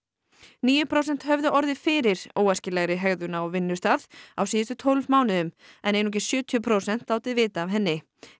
níu prósent höfðu orðið fyrir óæskilegri hegðun á vinnustað á síðustu tólf mánuðum en einungis sjötíu prósent látið vita af henni í